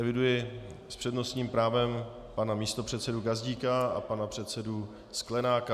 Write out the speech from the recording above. Eviduji s přednostním právem pana místopředsedu Gazdíka a pana předsedu Sklenáka.